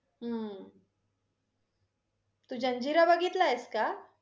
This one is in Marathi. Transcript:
हम्म तू जंजिरा बघितला आहेस का?